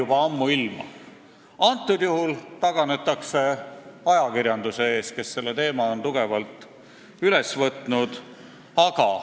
Praegusel juhul taganetakse ajakirjanduse ees, kes on selle teema tugevalt üles võtnud.